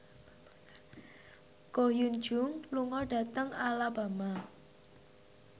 Ko Hyun Jung lunga dhateng Alabama